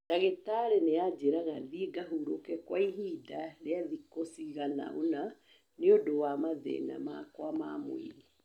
Ndagĩtarĩ nĩ aanjĩraga thiĩ ngahurũke kwa ihinda rĩa thikũ cigana ũna nĩ ũndũ wa mathĩna makwa ma mwĩrĩ